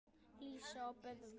Lísa og Böðvar.